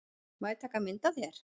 Má ég taka mynd af þér?